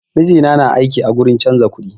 Mijina na aiki a gurin canza kuɗi